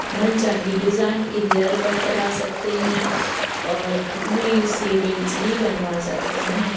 मनचाहे design के haircut करा सकते है और अपने सेविंग्स भी बनवा सकते है।